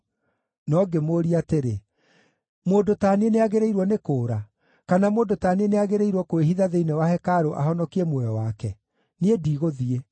No ngĩmũũria atĩrĩ, “Mũndũ ta niĩ nĩagĩrĩirwo nĩ kũũra? Kana mũndũ ta niĩ nĩagĩrĩirwo kwĩhitha thĩinĩ wa hekarũ ahonokie muoyo wake? Niĩ ndigũthiĩ!”